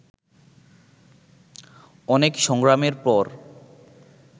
অনেক সংগ্রামের পর